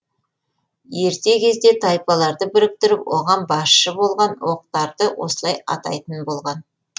ерте кезде тайпаларды біріктіріп оған басшы болған оқтарды осылай атайтын болған